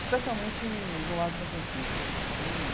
Especialmente no Largo de São Francisco né que tem.